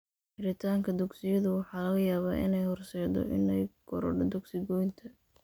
Xiritaanka dugsiyadu waxa laga yaabaa inay horseeddo inay korodho dugsi-goynta.